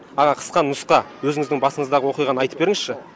аға қысқа нұсқа өзіңіздің басыңыздағы оқиғаны айтып беріңізші